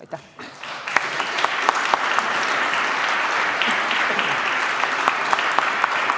Aitäh!